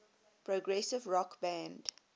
progressive rock band